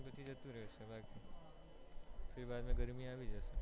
ઉતરાયણ પછી જતી રહેશે ફિર બાદ માં ગરમી આવી જશે